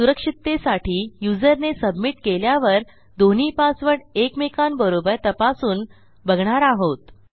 सुरक्षिततेसाठी युजरने सबमिट केल्यावर दोन्ही पासवर्ड एकमेकांबरोबर तपासून बघणार आहोत